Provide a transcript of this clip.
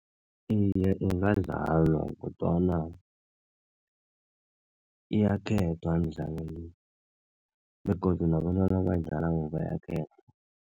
Iye, ingadlalwa kodwana iyakhethwa imidlalo le, begodu nabentwana abayidlalako